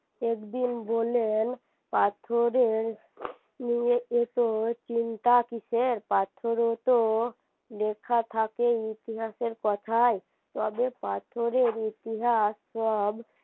একদিন বললেন পাথরের নিয়ে এতো চিন্তা কিসের পাথরে তো লেখা থাকে ইতিহাসের কথাই তবে পাথরের ইতিহাস সব